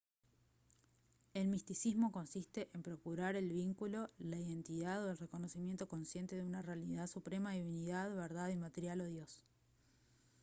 el misticismo consiste en procurar el vínculo la identidad o el reconocimiento consciente de una realidad suprema divinidad verdad inmaterial o dios